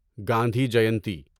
Gandhi Jayanti